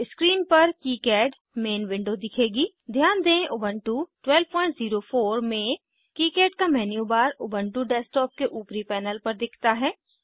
screen पर KiCad main window दिखेगी ध्यान दें उबन्टु 1204 में किकाड का मेन्यू बार उबन्टु डेस्कटॉप के ऊपरी पैनल पर दिखता है